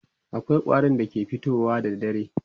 akwai ƙwarin da ke fitowa da dare